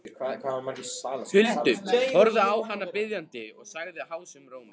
Huldu, horfði á hana biðjandi og sagði hásum rómi